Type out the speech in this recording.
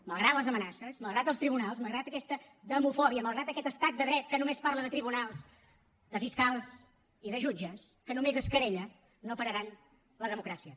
malgrat les amenaces malgrat els tribunals malgrat aquesta demofòbia malgrat aquest estat de dret que només parla de tribunals de fiscals i de jutges que només es querella no pararan la democràcia